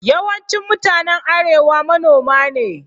Yawancin mutanen arewa manoma ne.